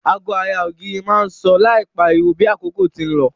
Ago ara ògiri má n so láì pariwo bi àkókò ti n lo